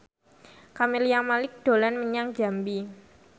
Camelia Malik dolan menyang Jambi